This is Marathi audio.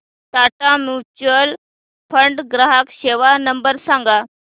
टाटा म्युच्युअल फंड ग्राहक सेवा नंबर सांगा